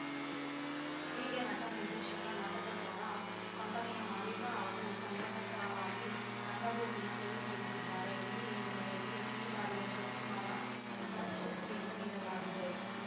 ಹೀಗೆ ನಟ ನಿರ್ದೇಶಕ ನಾಟಕಕಾರ ಕಂಪನಿಯ ಮಾಲೀಕ ಹಾಗೂ ಸಂಘಟಕರಾಗಿ ರಂಗಭೂಮಿಯ ಸೇವೆ ಸಲ್ಲಿಸಿದ್ದಾರೆ ಈ ಹಿನ್ನೆಲೆಯಲ್ಲಿ ಈ ಬಾರಿಯ ಶಿವಕುಮಾರ ಪ್ರಶಸ್ತಿಯನ್ನು ನೀಡಲಾಗಿದೆ